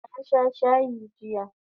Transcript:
Na sha shayi jiya